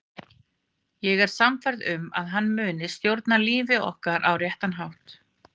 Ég er sannfærð um að hann mun stjórna lífi okkar á réttan hátt.